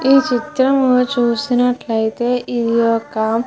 ఈ చిత్రము చూసినట్లయితే ఇది ఒక --